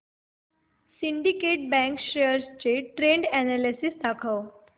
Syndicate bank shares चे trend analysis दाखव